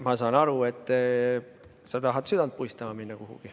Ma saan aru, et sa tahad kuhugi südant puistama minna.